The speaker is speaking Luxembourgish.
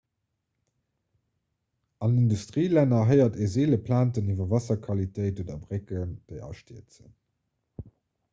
an industrielänner héiert ee seele plainten iwwer waasserqualitéit oder brécken déi astierzen